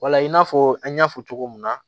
Wala i n'a fɔ an y'a fɔ cogo min na